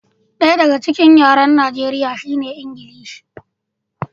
Ɗaya daga cikin yaren Najeriya shine Ingilishi.